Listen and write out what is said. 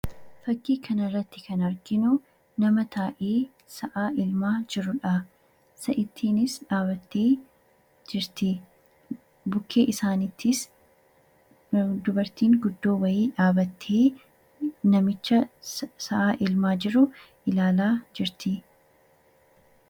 Fakkii kanarratti kan arginu nama taa'ee sa'a elmaa jirudha. Sa'ittiinis dhaabattee jirti. Bukkee isaaniittis dubartiin guddoo wayii dhaabattee namicha sa'a elmaa jiru ilaalaa jirti.